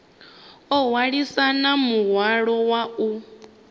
o hwalisana muhwalo wa u